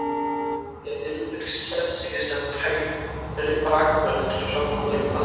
Gæti Rúrik séð sig sem hægri bakvörð til frambúðar í boltanum?